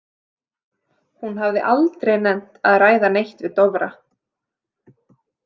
Hún hafði aldrei nennt að ræða neitt við Dofra.